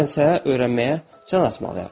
Bilmərəmsə, öyrənməyə can atmalıyam.